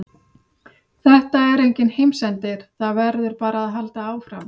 Þetta er enginn heimsendir, það verður bara að halda áfram.